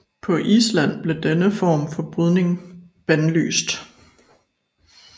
På Island blev denne form for brydning bandlyst